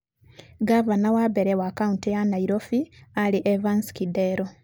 Ngavana wa mbere wa kaũntĩ ya Nairobi aarĩ Evans Kidero.